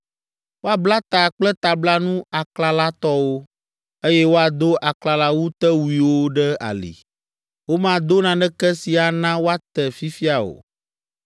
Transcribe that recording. Woabla ta kple tablanu aklalatɔwo, eye woado aklalawutewuiwo ɖe ali. Womado naneke si ana woate fifia o.